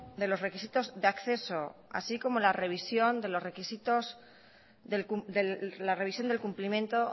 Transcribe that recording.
de los requisitos de acceso así como la revisión de los requisitos la revisión del cumplimiento